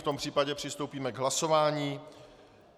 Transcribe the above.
V tom případě přistoupíme k hlasování.